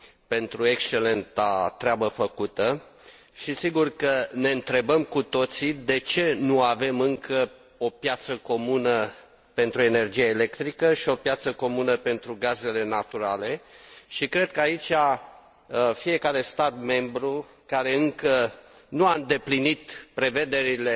pentru excelenta treabă făcută și sigur că ne întrebăm cu toții de ce nu avem încă o piață comună pentru energia electrică și o piață comună pentru gazele naturale și cred că aici fiecare stat membru care încă nu a îndeplinit prevederile